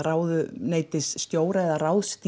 ráðuneytisstjóra eða